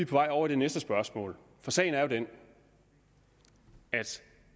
vej over i det næste spørgsmål for sagen er jo den at